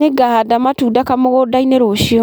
Nĩngahanda matunda kamũgũnda-inĩ rũciũ